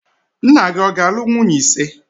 Nna gị ọ ga-alụ nwunye ise?